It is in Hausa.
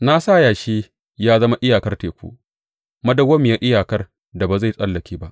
Na sa yashi ya zama iyakar teku, madawwamiyar iyakar da ba zai tsallake ba.